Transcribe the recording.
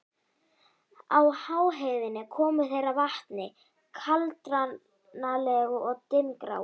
Á háheiðinni komu þeir að vatni, kaldranalegu og dimmgráu.